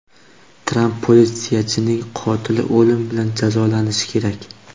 Tramp: Politsiyachining qotili o‘lim bilan jazolanishi kerak.